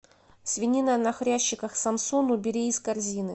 свинина на хрящиках самсон убери из корзины